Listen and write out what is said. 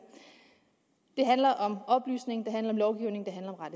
i det handler om oplysning det handler om lovgivning